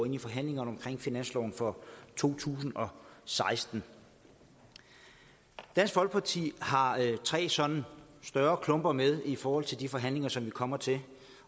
ind i forhandlingerne om finansloven for to tusind og seksten dansk folkeparti har tre sådan større klumper med i forhold til de forhandlinger som vi kommer til